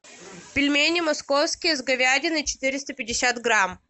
пельмени московские с говядиной четыреста пятьдесят грамм